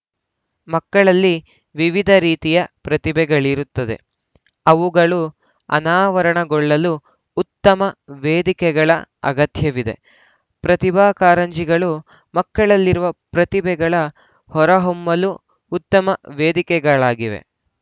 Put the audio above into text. ಮಕ್ಕಳಲ್ಲಿ ವಿವಿಧ ರೀತಿಯ ಪ್ರತಿಭೆಗಳಿರುತ್ತದೆಅವುಗಳು ಅನಾವರಣಗೊಳ್ಳಲು ಉತ್ತಮ ವೇದಿಕೆಗಳ ಅಗತ್ಯವಿದೆಪ್ರತಿಭಾಕಾರಂಜಿಗಳು ಮಕ್ಕಳಲ್ಲಿರುವ ಪ್ರತಿಭೆಗಳ ಹೊರಹೊಮ್ಮಲು ಉತ್ತಮ ವೇದಿಕೆಗಳಾಗಿವೆ